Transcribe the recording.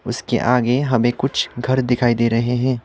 उसके आगे हमें कुछ घर दिखाई दे रहे हैं।